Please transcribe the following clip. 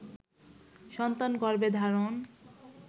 সন্তান গর্ভে ধারণ